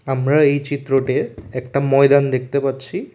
আমরা এই চিত্রটে একটা ময়দান দেখতে পাচ্ছি।